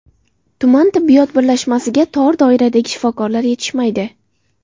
Tuman tibbiyot birlashmasiga tor doiradagi shifokorlar yetishmaydi.